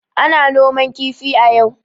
Ana noman kifi a yau.